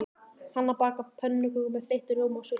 Hanna bakar pönnukökur með þeyttum rjóma og sultu.